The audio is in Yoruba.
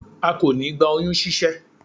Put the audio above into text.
a kò ní gba oyún ṣíṣẹ́